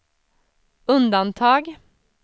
undantag